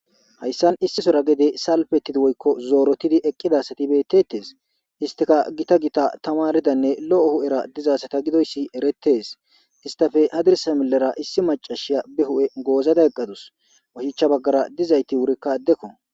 Hayssan issisora gede salfettidi woykko zoorotidi eqqidasatibetetees istika gita gita tamaridanne lo'o hu'era dizasata gidoyssi erettees istafe adirsamelera issi macashiya be hu'e goozada eqqadus washichcha baggara dizayti wurikka addekko.